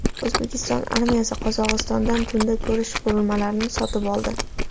O‘zbekiston armiyasi Qozog‘istondan tunda ko‘rish qurilmalarini sotib oldi.